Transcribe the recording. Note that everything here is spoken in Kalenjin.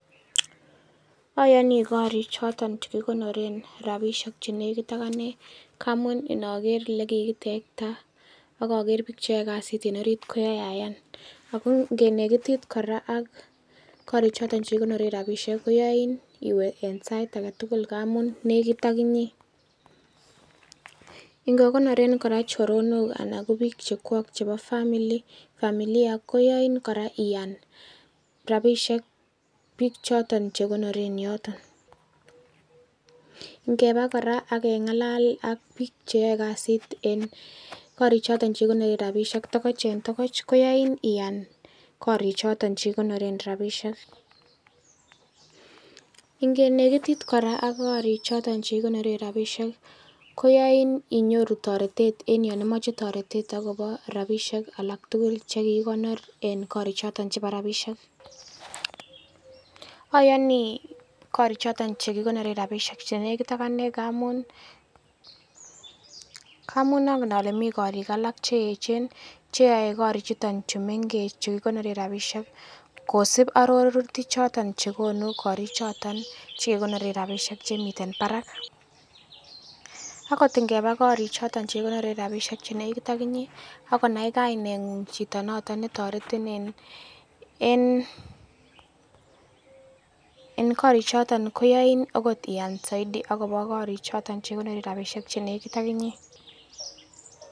Ayani korik choton chekekonoren rabinik ingamuun inaker elekikitekta akaker bik cheyae kasit en orit koyae Ayan ago ingenekitit kora ak korikchito chekekonoren rabisiek koyain iwe en saait agetugul ngamun nekit ak inye ingekonoren choronok anan ko bik chekuo chebo familia ko yain kora Ian rabisiek bik choto chekonoren yoto. Ingebaa kora ageng'alal ak bik cheyae kasit en rokoch en tokoch koyain ih Ian korik choton chekekonoren rabisiek ingenekitit kora ak korikchito chekekonoren rabisiek ih koyain inyoru taretet yanimache inyoru taretet en kasarta aketugul chekiibkonor en korichoto chebo rabisiek. Ayani korik choton chekekonoren rabisiek ngamun negit akanee ngamun angen alae mi korik alak cheechen cheyae korik chuton chekekonoren rabisiek kosib arorutik choton chekonu korik choton chekekonoren rabisiek chemiten barak akot ingeba korik choton chenegit ak inye akonai kainet ng'ung kotaretin en korik choton koyain akot Ian saiti akobo korik choton che chenekiten ak Inye